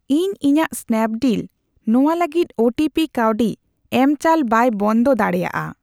ᱤᱧ ᱤᱧᱟᱜ ᱥᱱᱟᱯᱰᱤᱞ ᱱᱚᱣᱟ ᱞᱟᱹᱜᱤᱫ ᱚᱴᱳᱯᱮ ᱠᱟᱹᱣᱰᱤ ᱮᱢᱪᱟᱞ ᱵᱟᱭ ᱵᱚᱱᱫᱚ ᱫᱟᱲᱮᱭᱟᱜᱼᱟ ᱾